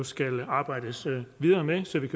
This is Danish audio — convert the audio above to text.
skal arbejdes videre med så vi